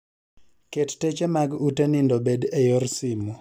ket teche mag ute nindo obed e yor simo